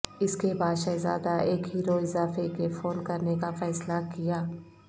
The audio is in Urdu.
اس کے بعد شہزادہ ایک ہیرو اضافے کے فون کرنے کا فیصلہ کیا